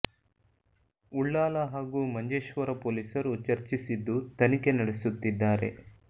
ಉಳ್ಳಾಲ ಹಾಗೂ ಮಂಜೇ ಶ್ವರ ಪೊಲೀಸರು ಚರ್ಚಿಸಿದ್ದು ತನಿಖೆ ನಡೆಸುತ್ತಿದ್ದಾರೆ